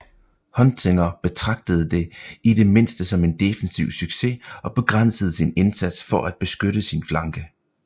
Huntzinger betragtede det i det mindste som en defensiv succes og begrænsede sin indsats for at beskytte sin flanke